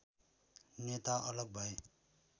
नेता अलग भए